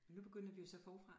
Nu begynder vi jo så forfra